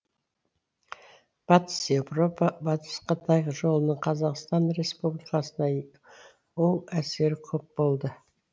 батыс еуропа батыс қытай жолының қазақстан республикасына оң әсері көп болды